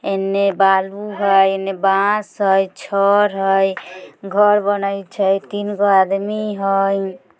इनने बालू हई एन्ने बास हई छड़ हई घर बनाई छइ तीनगो आदमी हई।